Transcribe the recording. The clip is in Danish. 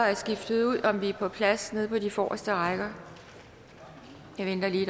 er skiftet ud og om vi er på plads på den forreste række vi venter lige